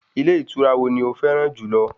Ilé ìtura wo ni o fẹ́ràn jùlọ?